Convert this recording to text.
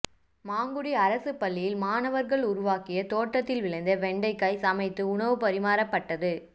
மாங்குடி அரசு பள்ளியில் மாணவர்கள் உருவாக்கிய தோட்டத்தில் விளைந்த வெண்டைக்காய் சமைத்து உணவு பரிமாறப்பட்டது